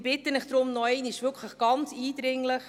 Ich bitte Sie wirklich nochmals ganz eindringlich: